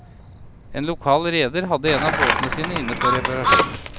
En lokal reder hadde en av båtene sine inne for reparasjon.